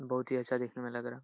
बहुत ही अच्छा देखने में लग रहा है।